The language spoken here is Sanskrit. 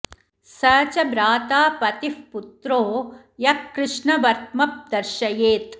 स च भ्राता पतिः पुत्रो यः कृष्णवर्त्म दर्शयेत्